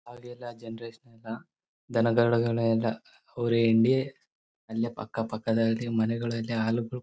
ಆಗೆಲ್ಲ ಜನರೇಶನ್ ಇಲ್ಲ ದನದೊಳಗಡೆ ಎಲ್ಲ ಹುರಿ ಹಿಂಡಿ ಅಲ್ಲೇ ಅಕ್ಕ ಪಕ್ಕದಲ್ಲಿ ಮನೆಗಳಿವೆ ಹಾಲುಗಳು--